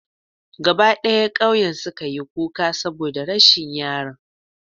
Gaba d'aya k'auyen su ka yi kuka saboda rashin yaron.